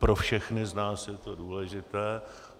Pro všechny z nás je to důležité.